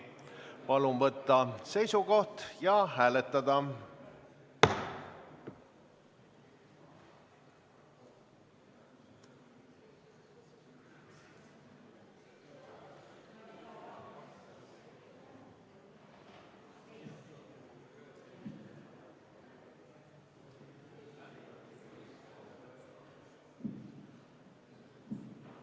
Palun võtta seisukoht ja hääletada!